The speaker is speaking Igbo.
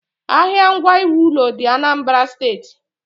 Ahịa ngwa iwu ụlọ dị ạnambara steeti.